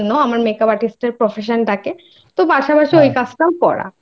করানোর জন্য আমার Makeup Artist এর Profession টাকে তো পাশাপাশি ওই কাজটাও করা